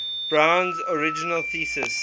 brown's original thesis